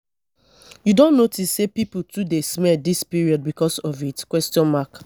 you don notice sey pipo too dey smell dis period because of heat?